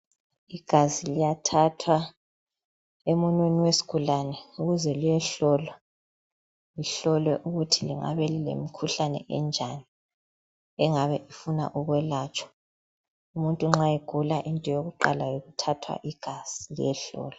Igazi liyathathwa emunweni wesigulane ukuze liyehlolwa, lihlolwe ukuthi lingabe lilemkhuhlane enjani engabe ifunwa ukwelatshwa umuntu nxa egula into yokuqala yikuthathwa igazi liyehlolwa.